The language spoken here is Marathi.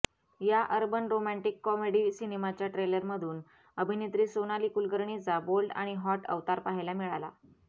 या अर्बन रोमँटिक कॉमेडी सिनेमाच्या ट्रेलरमधून अभिनेत्री सोनाली कुलकर्णीचा बोल्ड आणि हॉट अवतार पाहायला मिळाला